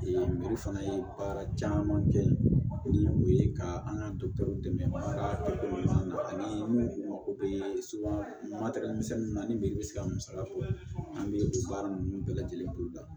fana ye baara caman kɛ ni o ye ka an ka dɛmɛ ka na ani minnu mako bɛ na ani bɛ se ka musaka bɔ an bɛ baara ninnu bɛɛ lajɛlen bolo da